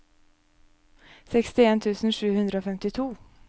sekstien tusen sju hundre og femtito